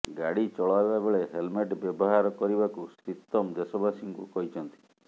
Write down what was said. ଗାଡ଼ି ଚଲାଇବା ବେଳେ ହେଲମେଟ ବ୍ୟବହାର କରିବାକୁ ଶ୍ରୀତମ ଦେଶବାସୀଙ୍କୁ କହିଛନ୍ତି